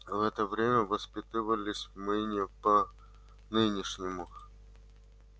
в это время воспитывались мы не по нынешнему